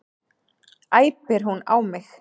æpir hún á mig.